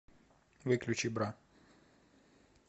выключи бра